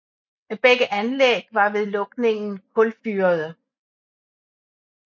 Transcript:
Begge anlæg var ved lukningen kulfyrede